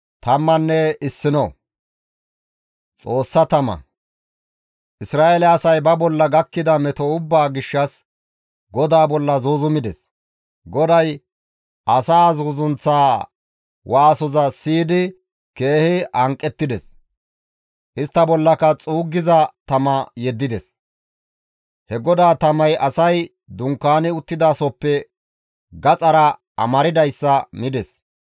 Isra7eele asay ba bolla gakkida meto ubbaa gishshas GODAA bolla zuuzumides; GODAY asaa zuuzunththaa waasoza siyidi keehi hanqettides; istta bollaka xuuggiza tama yeddides; he GODAA tamay asay dunkaani uttidasohoppe gaxara amardayssa mides.